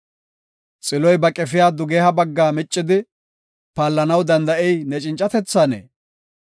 “Xiloy ba qefiya dugeha bagga miccidi, paallanaw danda7ey ne cincatethanee?